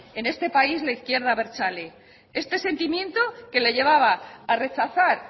en este país la izquierda abertzale este sentimiento que le llevaba a rechazar